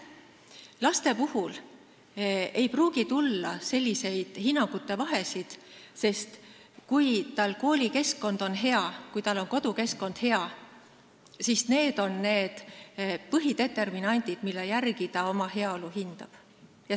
Laste puhul ei pruugi tulla selliseid vahesid hinnangutes, sest kui koolikeskkond on hea, kui kodukeskkond hea, siis need on need põhideterminandid, mille järgi laps oma heaolu hindab.